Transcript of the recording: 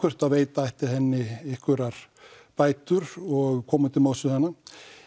að veita ætti henni einhverjar bætur og koma til móts við hana